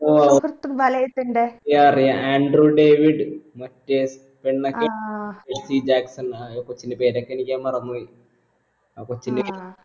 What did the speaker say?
ഓ ആണോ yah അറിയ android David മറ്റേ ഹിജാക്ക്സൺ ആ അഹ് കൊച്ചിന്റെ പേരൊക്കെ എനിക്ക് ഞാൻ മറന്ന് പോയി ആ കൊച്ചിന്റെ